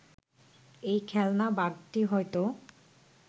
এই খেলনা বাঘটি হয়তো